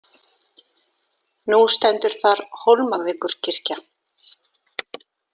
Nú stendur þar Hólmavíkurkirkja.